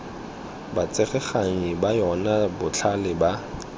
batsereganyi ba yona botlhe ba